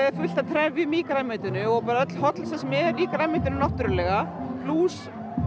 fullt af trefjum í grænmetinu og öll hollustan sem er í grænmetinu náttúrulega plús